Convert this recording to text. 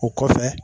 O kɔfɛ